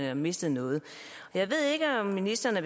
har mistet noget jeg ved ikke om ministeren